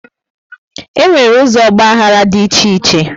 E nwere ụzọ ọgbaghara dị iche iche